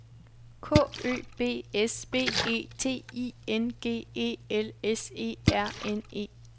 K Ø B S B E T I N G E L S E R N E